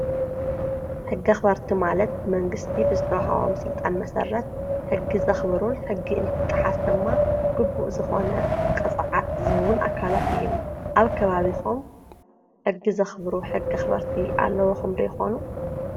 ሕጊ ኣክበርቲ ማለት ብመንግስቲ ብዝወሃቦም ስልጣን መሰረት ሕጊ ዘኽብሩ ሕጊ እንትጣሓስ ድማ ግቡእ ዝኾነ ቅፅዓት ዝህቡን ኣካላት እዮም። ኣብ ከባቢኹም ሕጊ ዘኽብሩ ሕጊ ኣክበርቲ ኣለዉኹም ዶ ይኾኑ?